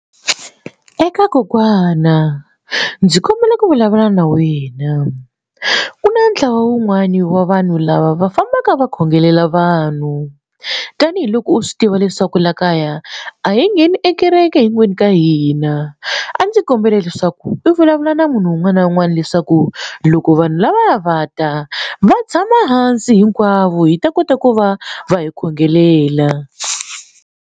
Eka kokwana ndzi kombela ku vulavula na wena ku na ntlawa wun'wani wa vanhu lava va fambaka va khongelela vanhu tanihiloko u swi tiva leswaku laha kaya a hi ngheni e kereke hinkwenu ka hina a ndzi kombela leswaku i vulavula na munhu un'wana na un'wana leswaku loko vanhu lava va ta va tshama hansi hinkwavo hi ta kota ku va va hi khongelela.